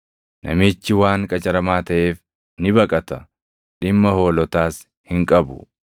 Namichi waan qacaramaa taʼeef ni baqata; dhimma hoolotaas hin qabu.